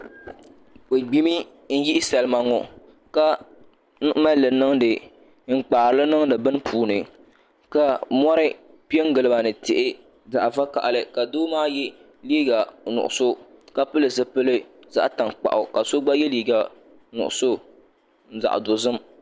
Bi gbimi n yihi salima ŋo n kpaarili niŋdi bini puuni ka mori piɛ n giliba ni tihi zaɣ vakaɣali ka doo maa yɛ liiga nuɣso ka pili zipili zaɣ tankpaɣu ka so gba yɛ liiga nuɣso zaɣ dozim